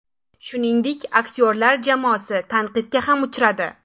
Shuningdek, aktyorlar jamoasi tanqidga ham uchradi.